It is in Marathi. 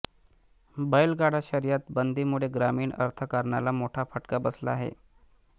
बैलगाडा शर्यत बंदी मुळे ग्रामीण अर्थकारणाला मोठा फटका बसला आहे